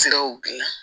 Siraw gila